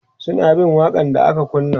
suna bin waƙa n da aka kunna